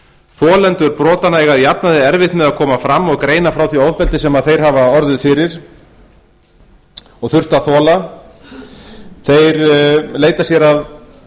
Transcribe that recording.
þolendur brotanna eiga að jafnaði erfitt með að koma fram og greina frá því ofbeldi sem þeir hafa þurft að þola í því skyni að